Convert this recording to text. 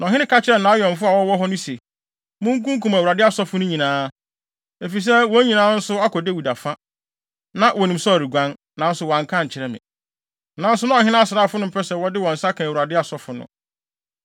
Na ɔhene ka kyerɛɛ nʼawɛmfo a wɔwɔ hɔ no se, “Munkunkum Awurade asɔfo no nyinaa, efisɛ wɔn nso akɔ Dawid afa. Na wonim sɛ ɔreguan, nanso wɔanka ankyerɛ me.” Nanso na ɔhene asraafo no mpɛ sɛ wɔde wɔn nsa ka Awurade asɔfo no.